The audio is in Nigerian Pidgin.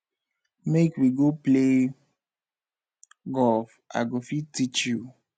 make we go play golf i go fit teach you